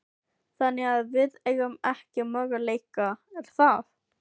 Þannig að við eigum ekki möguleika, er það?